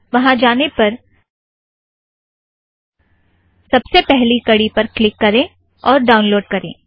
वहाँ जाने पर सबसे पहली कड़ी पर क्लिक करें और ड़ाउनलोड़ करें